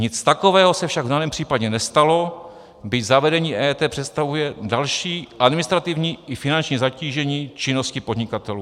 Nic takového se však v daném případě nestalo, byť zavedení EET představuje další administrativní i finanční zatížení činnosti podnikatelů.